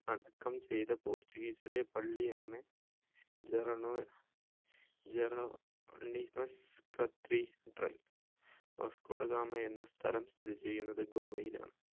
അടക്കം ചെയ്‌ത portuguese ലെ പള്ളിയാണ് ജെറെണോ Jeronimos cathedral Vasco da Gama എന്ന സ്ഥലം സ്ഥിതി ചെയ്യുന്നത് ഗോവയിലാണ്